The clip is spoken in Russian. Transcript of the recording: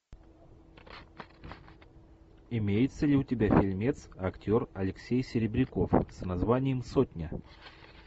имеется ли у тебя фильмец актер алексей серебряков с названием сотня